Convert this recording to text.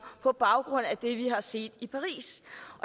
på baggrund af det vi har set i paris